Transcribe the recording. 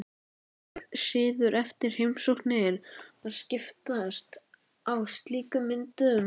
Það er siður eftir heimsóknir að skiptast á slíkum myndum.